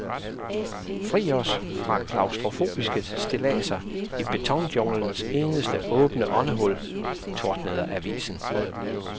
Fri os for klaustrofobiske stilladser i betonjunglens eneste åbne åndehul, tordnede avisen.